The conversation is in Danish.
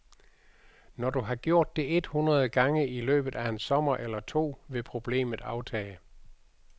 Når du har gjort det et hundrede gange i løbet af en sommer eller to, vil problemet aftage.